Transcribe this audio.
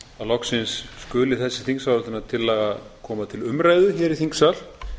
loksins skuli þessi þingsályktunartillaga koma til umræðu hér í þingsal